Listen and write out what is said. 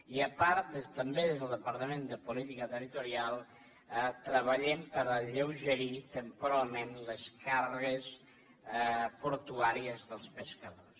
i a part també des del departament de política territorial treballem per alleugerir temporalment les càrregues portuàries dels pescadors